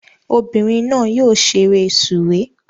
Ọmọbìnrin náà yóò ṣeré sùwé